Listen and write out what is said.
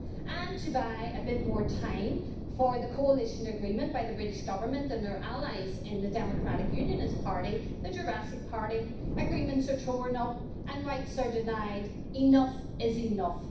And to buy a bit more time for the coalition agreement by the British Government and their allies in the Democratic Unionist Party the Jurassic Party agreements are torn up, and rights are denied. Enough is enough.